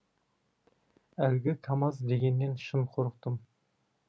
әлгі камаз дегеннен шын қорықтым